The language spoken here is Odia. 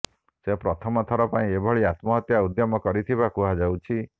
ସେ ପ୍ରଥମ ଥର ପାଇଁ ଏଭଳି ଆତ୍ମହତ୍ୟା ଉଦ୍ୟମ କରିଥିବା କୁହାଯାଉଛି